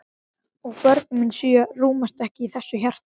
Og börnin mín sjö rúmast ekki í þessu hjarta.